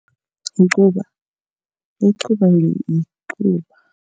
Icuba, icuba yicuba.